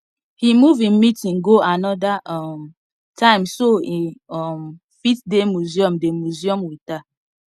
he move him meeting go another um time so e um fit dey museum dey museum with her